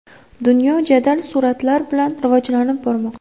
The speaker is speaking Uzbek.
Dunyo jadal sur’atlar bilan rivojlanib bormoqda.